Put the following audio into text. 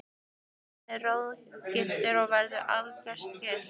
Himinninn er roðagylltur og veður algerlega stillt.